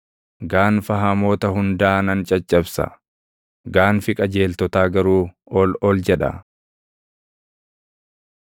Gaanfa hamoota hundaa nan caccabsa; gaanfi qajeeltotaa garuu ol ol jedha.